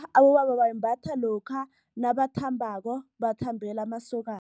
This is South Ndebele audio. Abobaba bayimbatha lokha nabakhambako, bakhambele amasokosana.